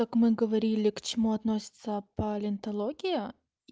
как мы говорили к чему относится палеонтология